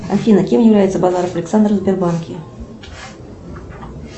афина кем является базаров александр в сбербанке